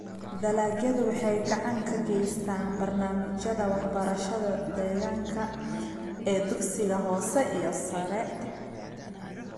Dalagyadu waxay gacan ka geystaan ??barnaamijyada waxbarashada deegaanka ee dugsiyada hoose iyo sare.